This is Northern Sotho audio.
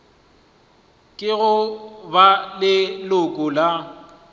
ke go ba leloko la